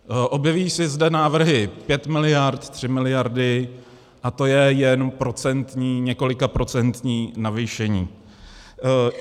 Objevují se zde návrhy 5 miliard, 3 miliardy, a to je jen několika procentní navýšení.